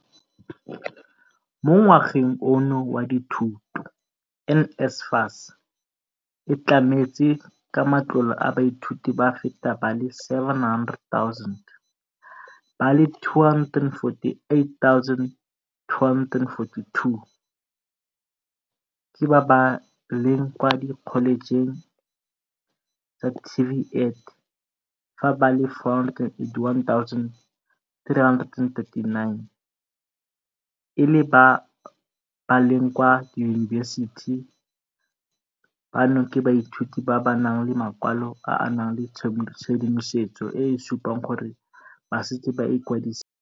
Mo ngwageng ono wa dithuto, NSFAS e tlametse ka matlole baithuti ba feta ba le 700 000, ba le 248 242 ke ba ba leng kwa dikholejeng tsa TVET fa ba le 481 339 e le ba ba leng kwa diyunibesiti, bano ke baithuti ba ba nang le makwalo a a nang le tshedimosetso e e supang gore ba setse ba ikwadisitse.